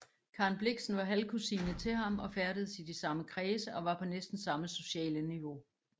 Karen Blixen var halvkusine til ham og færdedes i de samme kredse og var på næsten samme sociale niveau